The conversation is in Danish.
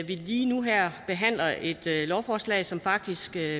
lige nu behandler et lovforslag som faktisk bliver